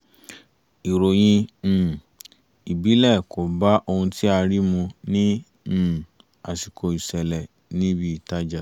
ìròyìn um ìbílẹ̀ kò bá ohun tí a rí mu ní um àsìkò ìṣẹ̀lẹ̀ ní ibi ìtajà